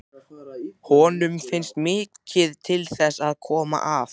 Honum fannst mikið til þess koma að